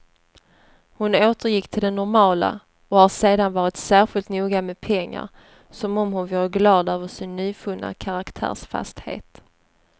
Hon återgick till det normala och har sedan varit särskilt noga med pengar, som om hon vore glad över sin nyvunna karaktärsfasthet.